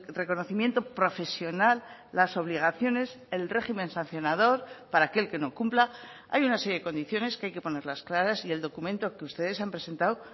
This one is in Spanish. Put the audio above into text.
reconocimiento profesional las obligaciones el régimen sancionador para aquel que no cumpla hay una serie de condiciones que hay que ponerlas claras y el documento que ustedes han presentado